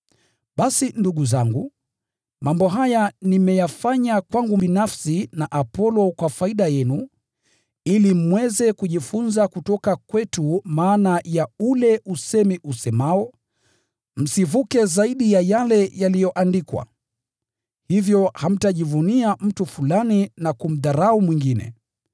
Basi ndugu zangu, mambo haya nimeyafanya kwangu binafsi na Apolo kwa faida yenu, ili mweze kujifunza kutoka kwetu maana ya ule usemi usemao, “Msivuke zaidi ya yale yaliyoandikwa.” Hivyo hamtajivunia mtu fulani na kumdharau mwingine.